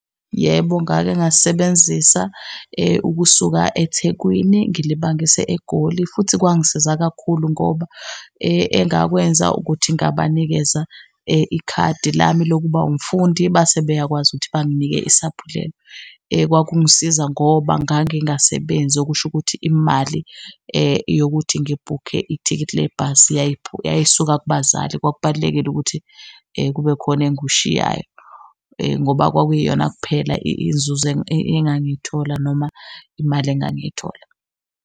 Yebo, ngake ngasebenzisa ukusuka eThekwini ngilibangise eGoli futhi kwangisiza kakhulu ngoba engakwenza ukuthi ngabanikeza ikhadi lami lokuba umfundi base beyakwazi ukuthi banginike isaphulelo. Kwakungisiza ngoba ngangingasebenzi, okusho ukuthi imali yokuthi ngibhukhe ithikithi lebhasi yayisuka kubazali. Kwakubalulekile ukuthi kube khona engikushiyayo ngoba kwakwiyona kuphela inzuzo engangiyithola noma imali engangiyithola.